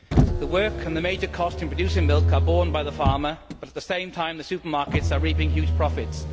The work and the major cost in producing milk are borne by the farmer, but at the same time the supermarkets are reaping huge profits.